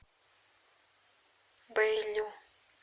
бэйлю